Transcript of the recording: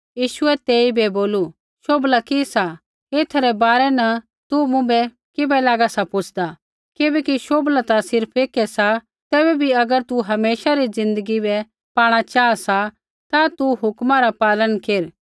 यीशुऐ तेइबै बोलू शोभला कि सा एथै रै बारै न तू मुँभै किबै लागा सा पुछ़दा किबैकि शोभला ता सिर्फ़ एकै सा तैबै भी अगर तू हमेशा री ज़िन्दगी बै पाणा चाहा सा ता तू हुक्मा रा पालन केर